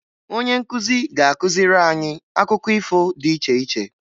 Onye nkuzi ga-akụziri anyị akụkọ ifo dị iche iche